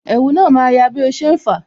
Ẹ̀wù na ma ya bí o ṣe ń fa